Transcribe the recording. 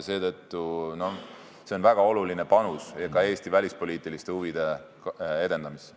See on väga oluline panus ka Eesti välispoliitiliste huvide edendamisse.